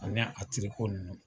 Ani a nunun